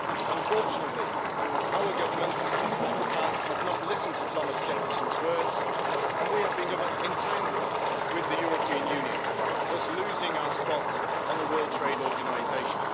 Unfortunately, our governments in the past have not listened to Thomas Jefferson's words, and we have become entangled with the European Union, thus losing our spot in the World Trade Organization.